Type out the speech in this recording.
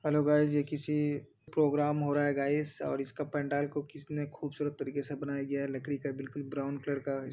Hello guys ! ये किसी programme हो रहा है गाइस और इसका पंडाल को किसने खूबसूरत तरीके से बनाया गया है। लकड़ी का बिल्कुल ब्राउन कलर का ह --